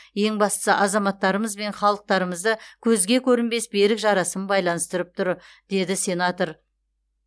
ең бастысы азаматтарымыз бен халықтарымызды көзге көрінбес берік жарасым байланыстырып тұр деді сенатор